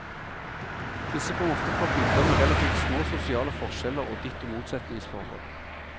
Disse kom ofte fra bygder med relativt små sosiale forskjeller og ditto motsetningsforhold.